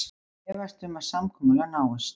Efast um að samkomulag náist